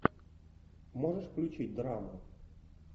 можешь включить драму